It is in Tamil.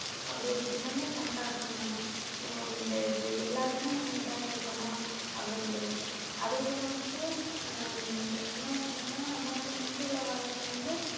அப்படியொரு தினமே கொண்டாடுறோம் நம்ம இந்த இது எல்லாருமே நம்ம இதா இருக்கணும் அப்படின்னு சொல்லிட்டு அதே போல வந்து ஆஹ் இந்த இன்னொண்ணு என்னன்னா நம்ம வந்து முந்தி உள்ள காலத்துல வந்து